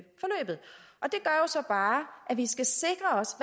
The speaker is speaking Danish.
så bare at vi skal sikre os